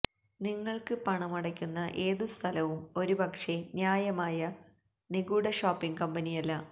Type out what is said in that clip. നിങ്ങൾക്ക് പണമടയ്ക്കുന്ന ഏതു സ്ഥലവും ഒരുപക്ഷേ ന്യായമായ നിഗൂഢ ഷോപ്പിംഗ് കമ്പനിയല്ല